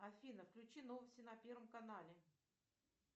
афина включи новости на первом канале